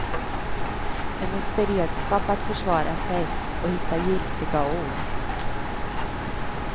Hennes beredskap att försvara sig och hitta giltiga ord.